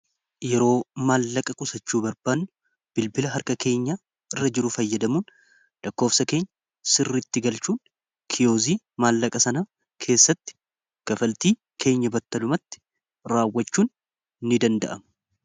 yeroo maallaqa qusachuu barbaanne bilbila harka keenya irra jiru fayyadamuun dhakkoofsa keenya sirritti galchuun kiyoozii maallaqa sana keessatti gafaltii keenya battalumatti raawwachuun ini danda'am